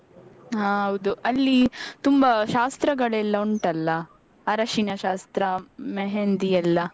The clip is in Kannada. ಆ ಹೌದು ಅಲ್ಲಿ ತುಂಬ ಶಾಸ್ತ್ರಗಳೆಲ್ಲ ಉಂಟಲ್ಲ ಅರಶಿನ ಶಾಸ್ತ್ರ मेहंदी ಎಲ್ಲ.